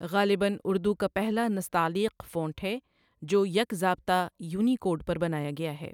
غالباً اردو کا پہلا نستعلیق فونٹ ہے جو یکضابطہ یونیکوڈ پر بنایا گیا ہے ۔